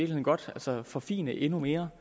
godt forfine endnu mere